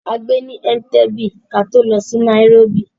A gbé ní Ẹ̀ǹtebè, kí á tó lọ sí nairóbì.